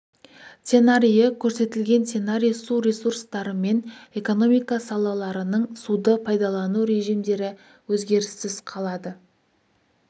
сценарийі көрсетілген сценарий су ресурстары мен экономика салаларының суды пайдалану режимдері өзгеріссіз қалады